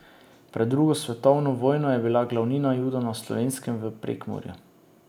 Pred drugo svetovno vojno je bila glavnina Judov na Slovenskem v Prekmurju.